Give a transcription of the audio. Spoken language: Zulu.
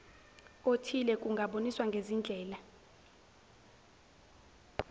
othile kungaboniswa ngezindlela